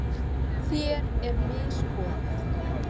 Þér er misboðið.